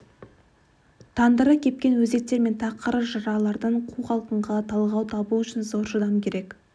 тандыры кепкен өзектер мен тақыр жыралардан қу құлқынға талғау табу үшін зор шыдам керек